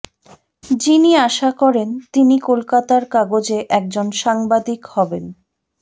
যিনি আশা করেন তিনি কলকাতার কাগজে একজন সাংবাদিক হবেন